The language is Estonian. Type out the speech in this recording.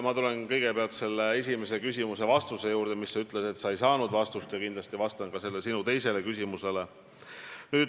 Ma tulen kõigepealt selle esimese küsimuse juurde, mille kohta sa ütlesid, et sa ei saanud vastust, ja kindlasti vastan ka sinu teisele küsimusele.